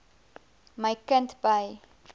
my kind by